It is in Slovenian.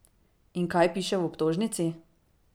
In kaj piše v obtožnici?